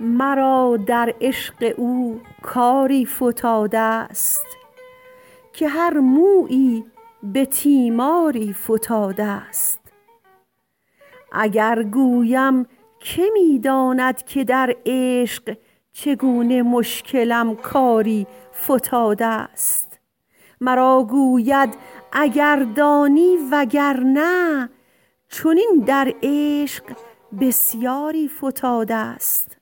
مرا در عشق او کاری فتادست که هر مویی به تیماری فتادست اگر گویم که می داند که در عشق چگونه مشکلم کاری فتادست مرا گوید اگر دانی وگرنه چنین در عشق بسیاری فتادست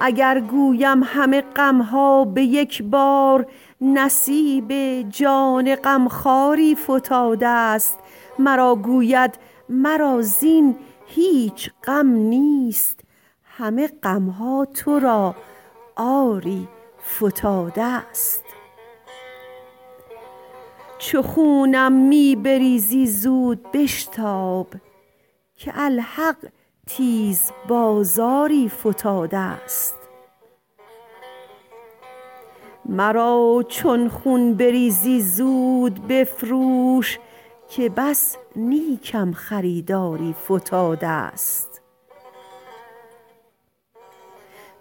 اگر گویم همه غمها به یک بار نصیب جان غمخواری فتادست مرا گوید مرا زین هیچ غم نیست همه غمها تو را آری فتادست چو خونم می بریزی زود بشتاب که الحق تیز بازاری فتادست مرا چون خون بریزی زود بفروش که بس نیکم خریداری فتادست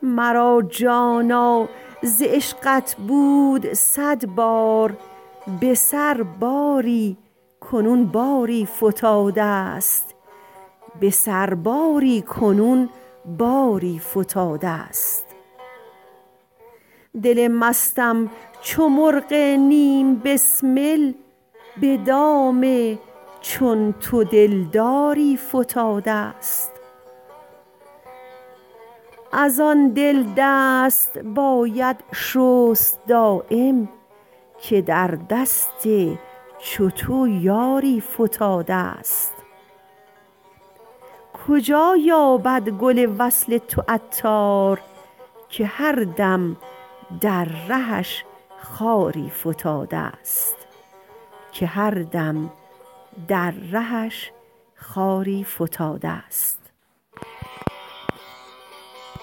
مرا جانا ز عشقت بود صد بار به سرباری کنون باری فتادست دل مستم چو مرغ نیم بسمل به دام چون تو دلداری فتادست از آن دل دست باید شست دایم که در دست چو تو یاری فتادست کجا یابد گل وصل تو عطار که هر دم در رهش خاری فتادست